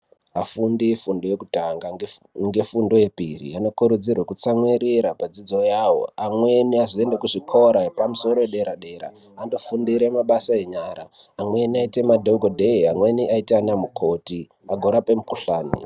Afundi efundo yekutanga ngefundo yepiri, anokurudzirwe kutsamwirira padzidzo yavo .Amweni azoenda kuzvikora zvepamusoro yedera-dera, andofundire mabasa enyara. Amweni aite madhokodhee ,amweni aite anamukoti, agorape mukhuhlani.